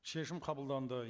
шешім қабылданды